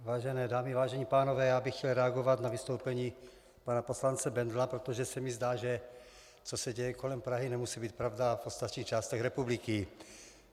Vážené dámy, vážení pánové, já bych chtěl reagovat na vystoupení pana poslance Bendla, protože se mi zdá, že co se děje kolem Prahy, nemusí být pravda v ostatních částech republiky.